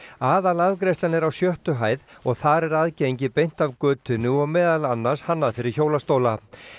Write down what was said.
aðalafgreiðslan er á sjöttu hæð og þar er aðgengi beint af götunni og meðal annars hannað fyrir hjólastóla